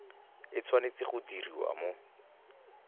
e tshwanetse go diriwa mo